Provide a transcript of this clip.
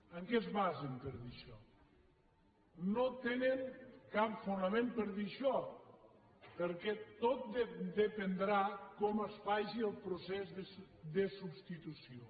en què es basen per dir això no tenen cap fonament per dir això perquè tot dependrà de com es faci el procés de substitució